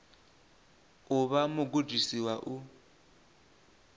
u vha mugudisi wa u